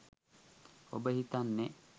ඔබ හිතන්නේ